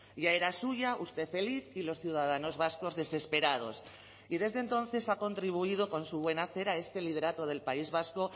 ya era suya usted feliz y los ciudadanos vascos desesperados y desde entonces ha contribuido con su buen hacer a este liderato del país vasco